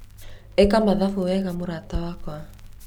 ĩka mathabu wega mũrata wakwa